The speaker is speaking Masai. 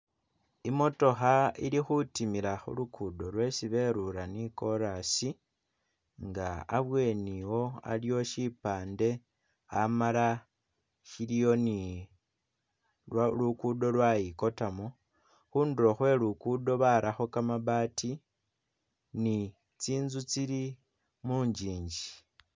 Imotooha ili khutimila khu lukudo lwesi berula ni chorus nga abweni wo aliwo shipande, amala shiliwo ni lwa lukudo lwayikotamo, khundulo Khwe lukudo barakho kamabaati ni tsinzu tsili munjinji